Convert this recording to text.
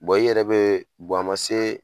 i yɛrɛ bɛ a ma se